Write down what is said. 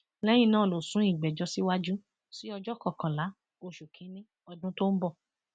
lẹyìn náà ló sún ìgbẹjọ síwájú sí ọjọ kọkànlá oṣù kìnínní ọdún tó ń bọ